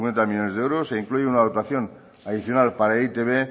cincuenta millónes de euros e incluye una dotación adicional para e i te be